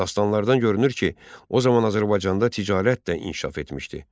Dastanlardan görünür ki, o zaman Azərbaycanda ticarət də inkişaf etmişdi.